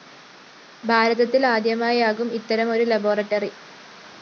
ഭാരതത്തില്‍ ആദ്യമായാകും ഇത്തരമൊരു ലബോറട്ടറി